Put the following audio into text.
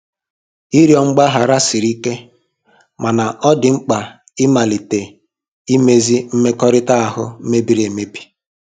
Ịrịọ mgbaghara siri ike, mana ọ dị mkpa ịmalite imezi mmekọrịta ahụ mebiri emebi.